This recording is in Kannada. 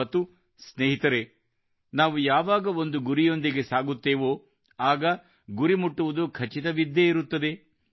ಮತ್ತು ಸ್ನೇಹಿತರೇ ನಾವು ಯಾವಾಗ ಒಂದು ಗುರಿಯೊಂದಿಗೆ ಸಾಗುತ್ತೇವೋ ಆಗ ಗುರಿ ಮುಟ್ಟುವುದು ಖಚಿತವಿದ್ದೇ ಇರುತ್ತದೆ